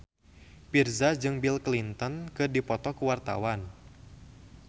Virzha jeung Bill Clinton keur dipoto ku wartawan